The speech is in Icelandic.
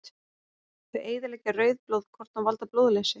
Þau eyðileggja rauð blóðkorn og valda blóðleysi.